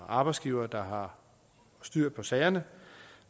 arbejdsgivere der har styr på sagerne